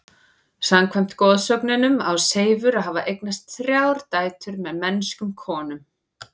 Samkvæmt goðsögunum á Seifur að hafa eignast þrjár dætur með mennskum konum.